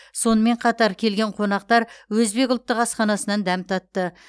сонымен қатар келген қонақтар өзбек ұлттық асханасынан дәм татты